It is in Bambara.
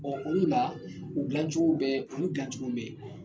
olu la, , o dilan cogo bɛ, olu dilan cogo bɛ yen